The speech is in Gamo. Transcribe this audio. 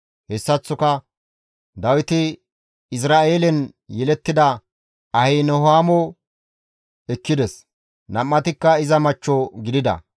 Hessaththoka Dawiti Izra7eelen yelettida Ahinahoomo ekkides; nam7atikka iza machcho gidida.